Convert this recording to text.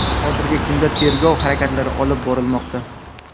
hozirgi kunda tergov harakatlari olib borilmoqda.